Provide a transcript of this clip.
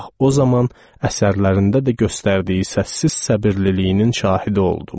Bax o zaman əsərlərində də göstərdiyi səssiz səbirliliyinin şahidi oldum.